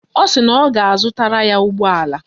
Ọ sị na ọ ga-azụtara ya ụgbọala